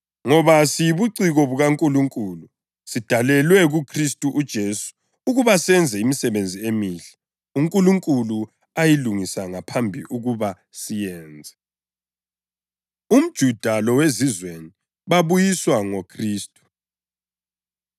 Ngoba siyibuciko bukaNkulunkulu, sidalelwe kuKhristu uJesu ukuba senze imisebenzi emihle, uNkulunkulu ayilungisa ngaphambili ukuba siyenze. UmJuda LoweZizweni Babuyiswa NgoKhristu